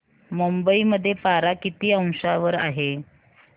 मुंबई मध्ये पारा किती अंशावर आहे